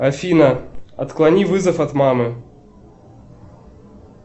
афина отклони вызов от мамы